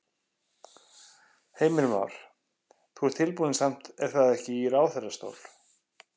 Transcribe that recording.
Heimir Már: Þú ert tilbúinn samt er það ekki í ráðherrastól?